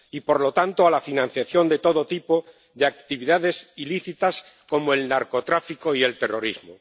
Y, por lo tanto, a la financiación de todo tipo de actividades ilícitas, como el narcotráfico y el terrorismo.